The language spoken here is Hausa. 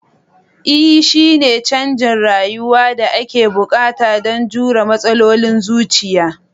Ee shine canjin rayuwa da ake buƙata don jure matsalolin zuciya